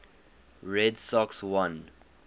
red sox won